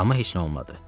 Amma heç nə olmadı.